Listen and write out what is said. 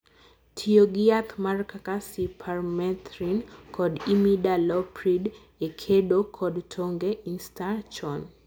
tiyo gi yath mar kaka cypermethrin kod imidaloprid e kedo kod tonge instar chon.